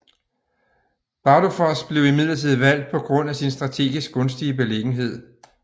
Bardufoss blev imidlertid valgt på grund af sin strategisk gunstige beliggenhed